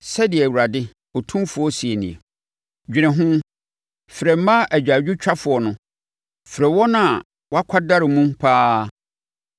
Sɛdeɛ Awurade tumfoɔ seɛ nie: “Dwene ho! Frɛ mmaa agyaadwotwafoɔ no, frɛ wɔn a wɔakwadare mu pa ara.